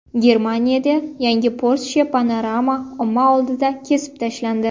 Germaniyada yangi Porsche Panamera omma oldida kesib tashlandi .